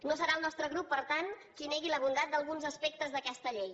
no serà el nostre grup per tant qui negui la bondat d’alguns aspectes d’aquesta llei